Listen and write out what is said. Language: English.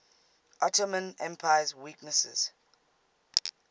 ottoman empire's weaknesses